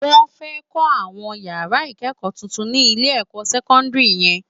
Wòn fè kò áwòn iyárá ikëkò tútún si Ilé èkò sèkòndiri yèn